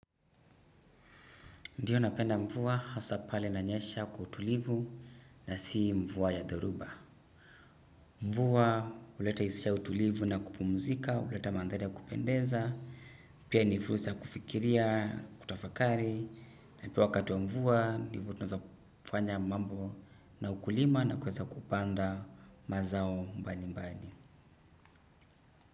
Ndiyo, napenda mvua, hasa pale inanyesha kwa utulivu na si mvua ya dhoruba. Mvua huleta hisia ya utulivu na kupumzika, huleta mandhari ya kupendeza, na pia ni fursa ya kufikiria, kutafakari. Na pia wakati wa mvua ndivyo tunaweza kufanya mambo na ukulima na kuweza kupanda mazao mbalimbali.